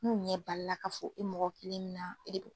N'u ɲɛ balila ka fo e mɔgɔ kelen min na e de